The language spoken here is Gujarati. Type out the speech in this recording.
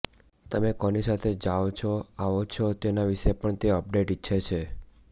તમે કોની સાથે જાવ છો આવો છો તેના વિશે પણ તે અપડેટ ઈચ્છે છે